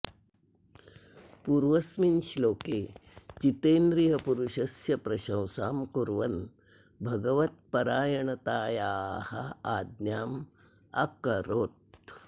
पूर्वस्मिन् श्लोके जितेन्द्रियपुरुषस्य प्रशंसां कुर्वन् भगवत्परायणतायाः आज्ञाम् अकरोत्